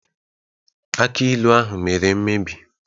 Akj ilu ahụ mere mmebi